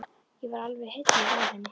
Ég var alveg heilluð af henni.